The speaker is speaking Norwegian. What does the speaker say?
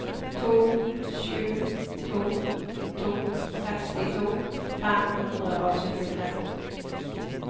to sju to to sekstito fem hundre og syttitre